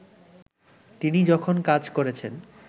তিনি যখন কাজ করেছেন